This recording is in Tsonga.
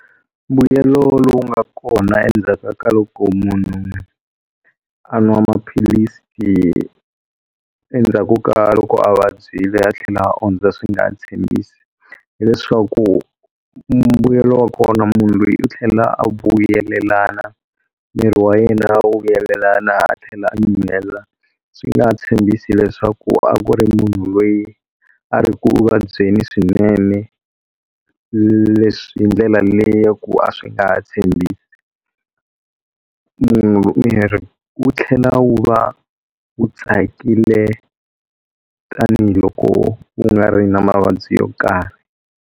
Mbuyelo lowu nga kona endzhaka ka loko munhu a nwa maphilisi endzhaku ka loko a vabyile a tlhela ondza swi nga tshembisi, hileswaku mbuyelo wa kona munhu loyi u tlhela a vuyelelana miri wa yena wu vuyelelana a tlhela nyuhela swi nga ha tshembisi leswaku a ku ri munhu loyi a ri ku vabyeni swinene leswi hi ndlela leyaku a swi nga tshembisi, miri wu tlhela wu va wu tsakile tanihiloko u nga ri na mavabyi yo karhi.